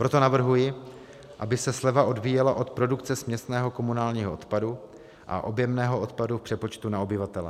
Proto navrhuji, aby se sleva odvíjela od produkce směsného komunálního odpadu a objemného odpadu v přepočtu na obyvatele.